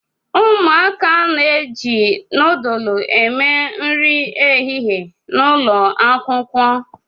Umuaka n'eji núdúlú eme nri ehihie n'ụlọ Akwụkwọ